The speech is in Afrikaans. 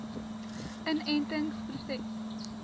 inentingproses